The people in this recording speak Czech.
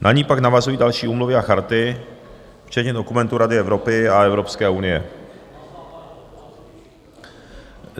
Na ni pak navazují další úmluvy a charty, včetně dokumentů Rady Evropy a Evropské unie.